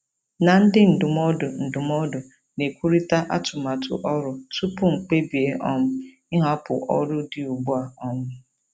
na ndị ndụmọdụ ndụmọdụ na-ekwurịta atụmatụ ọrụ tupu m kpebie um ịhapụ ọrụ dị ugbu a. um